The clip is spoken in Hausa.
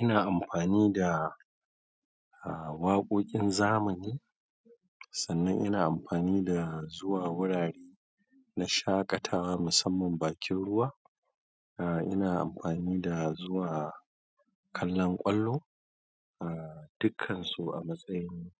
Ina amfani da waƙoƙin zamani, sannan ina amfani da zuwa wurare na shaƙatawa musamman bakin ruwa. Ina amfani da zuwa kallon ƙwallo, dukkan su a matsayin